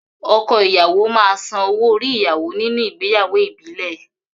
Ọkọ ìyàwó máa san owo-orí ìyàwó nínú ìgbéyàwó ìbílẹ̀.